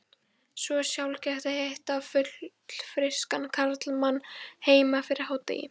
Svo sjaldgæft að hitta fullfrískan karlmann heima fyrir hádegi.